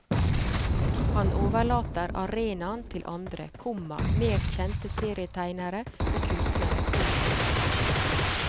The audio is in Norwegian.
Han overlater arenaen til andre, komma mer kjente serietegnere og kunstnere. punktum